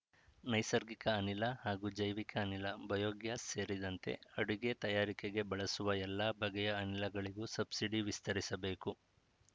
ನೈಸರ್ಗಿಕ ಅನಿಲ ಹಾಗೂ ಜೈವಿಕ ಅನಿಲ ಬಯೋ ಗ್ಯಾಸ್‌ ಸೇರಿದಂತೆ ಅಡುಗೆ ತಯಾರಿಕೆಗೆ ಬಳಸುವ ಎಲ್ಲ ಬಗೆಯ ಅನಿಲಗಳಿಗೂ ಸಬ್ಸಿಡಿ ವಿಸ್ತರಿಸಬೇಕು